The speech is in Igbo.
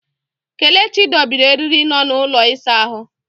Kelechi dobiri eriri nọ n'ụlọ ịsa ahụ.